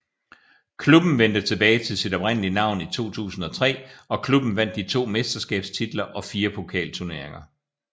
Klubben vendte tilbage til sit oprindelige navn i 2003 og klubben vandt de to mesterskabstitler og fire pokalturneringer